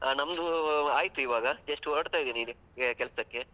ಹಾ ನಮ್ದು ಆಯ್ತು ಇವಾಗ, just ಹೊರಡ್ತಾ ಇದೀನಿ ಈಗ ಕೆಲ್ಸಕ್ಕೆ.